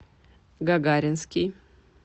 гагаринский